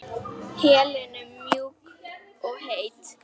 Helenu mjúk og heit.